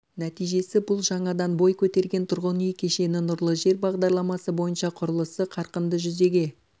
нәтижесі бұл жаңадан бой көтерген тұрғын үй кешені нұрлы жер бағдарламасы бойынша құрылысы қарқынды жүзеге